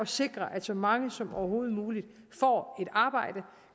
sikre at så mange som overhovedet muligt får et arbejde